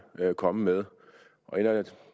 komme med